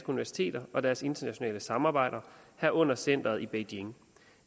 universiteter og deres internationale samarbejder herunder centeret i beijing